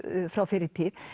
frá fyrri tíð